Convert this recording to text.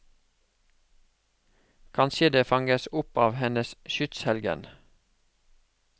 Kanskje det fanges opp av hennes skytshelgen.